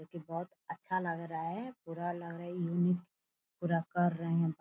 जो की बहुत अच्छा लग रहा है पूरा लग रहा यूनीक पूरा कर रहे हैं --